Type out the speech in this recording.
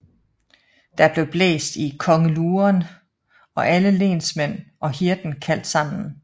Der blev blæst i kongeluren og alle lendmænd og hirden kaldt sammen